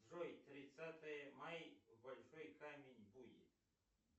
джой тридцатое май большой камень буй